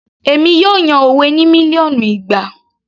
Èmi yóò yan òwe ní mílíọ̀nù ìgbà